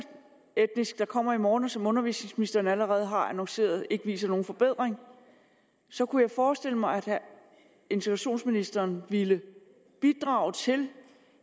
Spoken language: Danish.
etnisk der kommer i morgen og som undervisningsministeren allerede har annonceret ikke viser nogen forbedring så kunne jeg forestille mig at integrationsministeren ville bidrage til